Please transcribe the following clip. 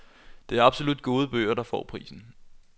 Det er absolut gode bøger der får prisen.